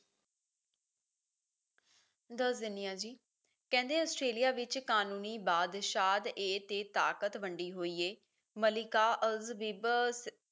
ਦੱਸ ਦੇਣੀ ਆ ਜੀ ਕਹਿੰਦੇ ਆਸਟ੍ਰੇਲੀਆ ਵਿੱਚ ਕਾਨੂੰਨੀ ਬਾਦਸ਼ਾਦ ਏ ਤੇ ਤਾਕਤ ਵੰਡੀ ਹੋਈ ਏ ਮਲਿਕਾ elizabeth